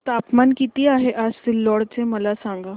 तापमान किती आहे आज सिल्लोड चे मला सांगा